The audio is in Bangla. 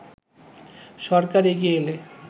সরকার এগিয়ে এলে